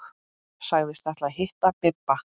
Sagðist ætla að hitta Bibba.